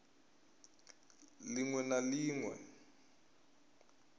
ḽ iṅwe na ḽ iṅwe